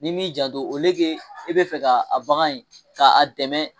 Ni m'i janto i bɛ fɛ ka a bagan in ka a dɛmɛ